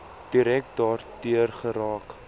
direk daardeur geraak